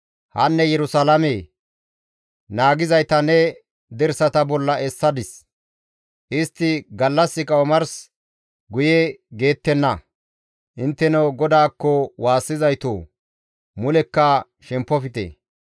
Hanne Yerusalaamee! Naagizayta ne dirsata bolla essadis; istti gallassika omars guye geettenna; Intteno GODAAKKO waassizaytoo, mulekka shempofte;